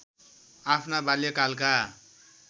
आफ्ना बाल्यकालका